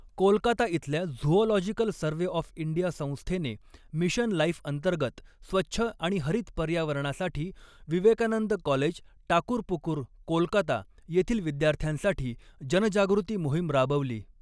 कोलकाता इथल्या zoological survey of India संस्थेने mission life अंतर्गत स्वच्छ आणि हरित पर्यावरणासाठी विवेकानंद कॉलेज टाकुरपुकुर, कोलकाता येथील विद्यार्थ्यांसाठी जनजागृती मोहीम राबवली.